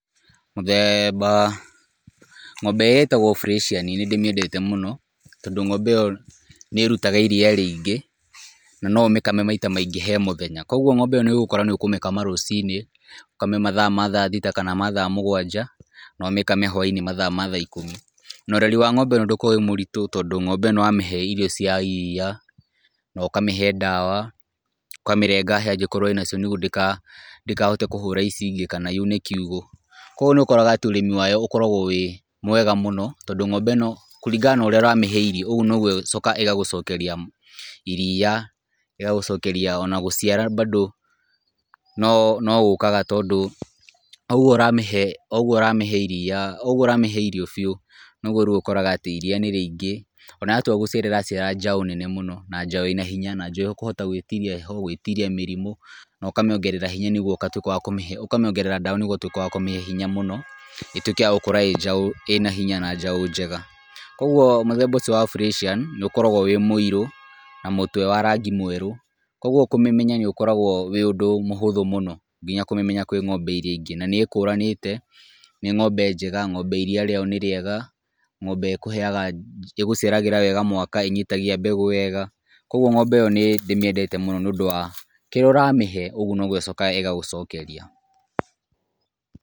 Mũthemba, ng´ombe ĩrĩa ĩtagwo Freshian nĩ ndĩmĩendete mũno, tondũ ng´ombe ĩyo nĩ ĩrutaga iria rĩingĩ, na no ũmĩkame maita maingĩ he mũthenya, kũgwo ng´ombe ĩyo nĩ ũgũkora nĩ ũkũmĩkama rũciinĩ , ũkame mathaa ma thaa thita kana thaa mũgwanja, na ũmĩkame hwai-inĩ mathaa ma thaa ikũmi , na ũreri wa ng´ombe ĩno ndũkoragwo wĩ mũritũ tondũ ng´ombe ĩno wamĩhe irio cia iria, na ũkamĩhe ndawa, ũkamĩrenga hĩa angĩkorwo ĩna cio nĩgwo ndĩgahote kũhũra ici ingĩ , kana yune kiugũ, kũgwo nĩ ũkoraga ũrĩmi wayo ũkoragwo wĩ mwega mũno, tondũ ng´ombe ĩno kũringana na ũrĩa ũramĩhe irio ũgwo nogwo ĩgũcoka ĩgagũcokeria iria, ĩgagũcokeria ona gũciara bado, no ũkaga tondũ o ũgwo ũramĩhe iria o ũgwo ũramĩhe irio biũ, nogwo ũkoraga atĩ iria nĩ rĩingĩ , ona yatua gũciara ĩraciara njaũ nene mũno na njaũ ĩna hinya na njaũ ĩkũhota gwĩtiria mĩrimũ , na ũkamĩongerera hinya nĩgwo ũgatwĩka wa kũmĩhe, ũkamĩongerera ndawa nĩgwo ũtwĩke wa kũmĩhe hinya mũno, ĩtwĩke ya gũkorwo njaũ ĩna hinya na njaũ njega, kũgwo mũthemba ũcio wa Freshian nĩ ũkoragwo wĩ mũirũ , na mũtwe wa rangi mwerũ, kũgwo kũmĩmenya nĩ ũndũ ũkoragwo wĩ mũhũthũ mũno, nginya kũmĩmenya kwĩ ng´ombe iria ingĩ , na nĩ ĩkũranĩte na nĩ ng´ombe njega, ng´ombe iria rĩayo nĩ rĩega, ng´ombe ĩgũciaragĩra wega mwaka, inyitagia mbegũ wega , kũgwo ng´ombe ĩyo nĩ nĩimĩendete mũno nĩ ũndũ wa kĩrĩa ũramĩhe ũgwo nĩgwo ĩcokaga ĩgagũcokeria.